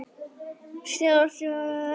Síðar orti ég annað erindi.